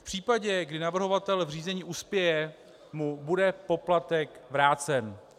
V případě, kdy navrhovatel v řízení uspěje, mu bude poplatek vrácen.